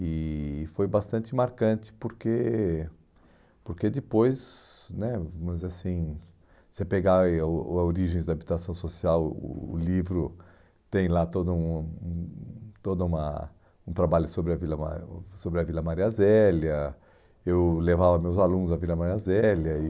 E e foi bastante marcante, porque porque depois né, vamos dizer assim, se você pegar aí o a origem da habitação social, o livro tem lá todo um hum toda uma um trabalho sobre a Vila Ma sobre a Vila Maria Zélia, eu levava meus alunos à Vila Maria Zélia e...